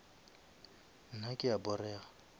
nna ke a porega